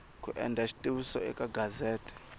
ku endla xitiviso eka gazete